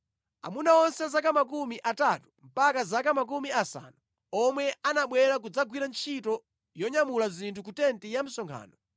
Aamuna onse a zaka makumi atatu mpaka zaka makumi asanu omwe anabwera kudzagwira ntchito yonyamula zinthu ku tenti ya msonkhano